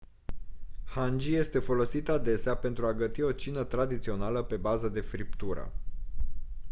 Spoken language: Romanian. hangi este folosit adesea pentru a găti o cină tradițională pe bază de friptură